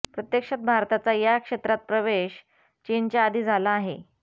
प्रत्यक्षात भारताचा या क्षेत्रात प्रवेश चीनच्या आधी झाला आहे